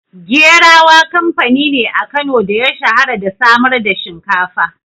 Gerawa kamfani ne a Kano da ya shahara da samar da shinkafa.